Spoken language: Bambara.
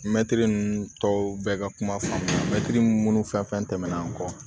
Mɛtiri ninnu tɔw bɛɛ ka kuma faamuya mɛtiri munnu fɛn fɛn tɛmɛnɛna an kɔ